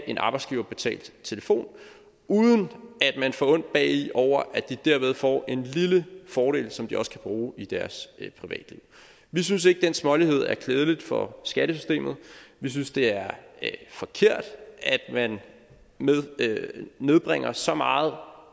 en arbejdsgiverbetalt telefon uden at man får ondt bagi over at de derved får en lille fordel som de også kan bruge i deres privatliv vi synes ikke at den smålighed er klædeligt for skattesystemet vi synes det er forkert at man bringer så meget